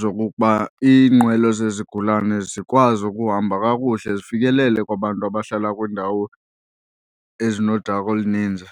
zokokuba iinqwelo zezigulane zikwazi ukuhamba kakuhle zifikelele kwabantu abahlala kwiindawo ezinodaka oluninzi.